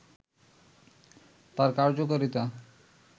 তার কার্যকারিতা